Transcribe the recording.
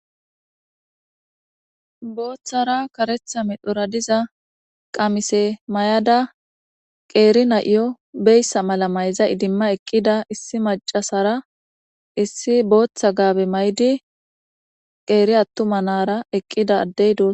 Botara karetha medhora diza qamise ma'da qeri na'iyo beesa mala mayza idimada eqida issi mac' asara issi bota gabe ma'idi qeri atuma na'ara eqida adey dosona.